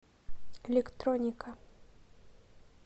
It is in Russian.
электроника